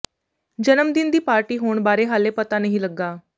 ਜਨਮ ਦਿਨ ਦੀ ਪਾਰਟੀ ਹੋਣ ਬਾਰੇ ਹਾਲੇ ਪਤਾ ਨਹੀਂ ਲੱਗਾ